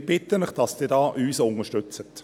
Wir bitten Sie, dass Sie uns hier unterstützen.